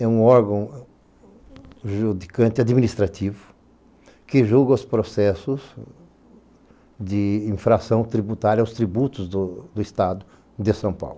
É um órgão judicante e administrativo que julga os processos de infração tributária, os tributos do Estado de São Paulo.